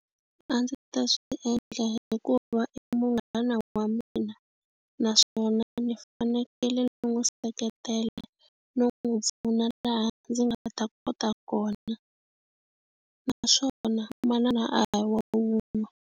A ndzi ta swi endla hikuva i munghana wa mina naswona ni fanekele ni n'wi seketela no n'wi pfuna laha ndzi nga ta kota kona naswona manana a hi wa wun'we.